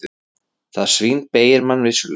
Það svínbeygir mann vissulega.